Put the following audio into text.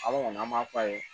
An kɔni an b'a f'a ye